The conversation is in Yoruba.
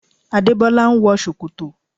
Adébọ́lá ń wọ ṣòkòtò